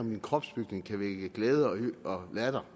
om min kropsbygning kan vække glæde og latter